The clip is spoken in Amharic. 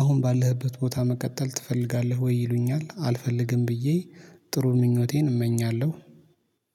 አሁን ባለህበት ቦታ መቀጠል ትፈልጋለህ? ወይ ይሉኛል። አልፈልግም ብዬ። ጥሩ ምኞቴን እመኛለሁ።